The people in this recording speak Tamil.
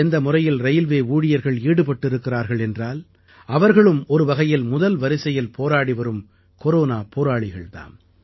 எந்த முறையில் ரயில்வே ஊழியர்கள் ஈடுபட்டிருக்கிறார்கள் என்றால் அவர்களும் ஒரு வகையில் முதல் வரிசையில் போராடிவரும் கொரோனா போராளிகள் தாம்